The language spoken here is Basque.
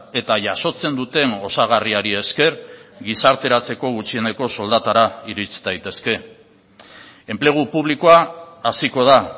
eta jasotzen duten osagarriari esker gizarteratzeko gutxieneko soldatara irits daitezke enplegu publikoa haziko da